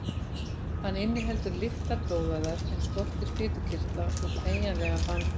Hann inniheldur litlar blóðæðar en skortir fitukirtla og teygjanlegan bandvef.